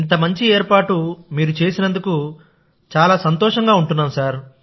ఇంత మంచి ఏర్పాటు మీరు చేసినందుకుచాలా సంతోషంగా ఉంటున్నాం